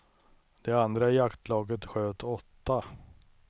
De andra i jaktlaget sköt åtta.